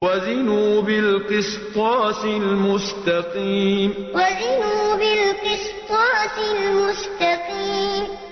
وَزِنُوا بِالْقِسْطَاسِ الْمُسْتَقِيمِ وَزِنُوا بِالْقِسْطَاسِ الْمُسْتَقِيمِ